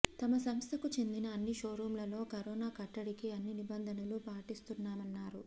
తమ సంస్థకు చెందిన అన్ని షోరూంలలో కరోనా కట్టడికి అన్ని నిబంధనలూ పాటిస్తున్నామన్నారు